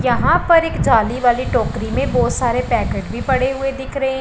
यहां पर एक जाली वाली टोकरी में बहोत सारे पैकेट भी पड़े हुए दिख रहे हैं।